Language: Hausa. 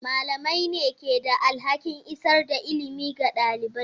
Malamai ne ke da alhakin isar da ilimi ga ɗalibai.